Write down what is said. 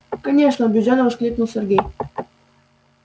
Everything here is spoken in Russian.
конечно убеждённо воскликнул сергей